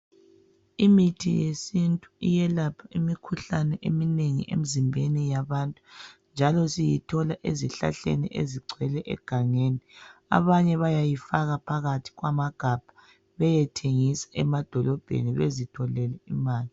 Imithi yesintu iyelapha imikhuhlane eminengi emzimbeni yabantu njalo siyithola ezihlahleni ezigcwele egangeni abanye bayayifaka phakathi kwamagabha beyethengisa emadolobheni bezitholele imali.